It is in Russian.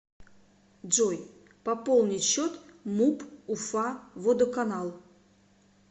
джой пополнить счет муп уфа водоканал